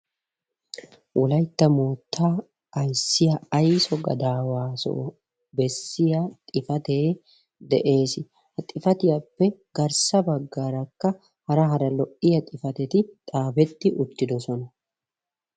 Wolaytta moottaa ayssiya ayso gadaawaasoo bessiyaa xifatee de'ees. He xifatiyappe garssa baggaarakka hara hara lo''iya xifateti xaafetti uttidosona.